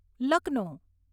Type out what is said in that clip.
Lucknow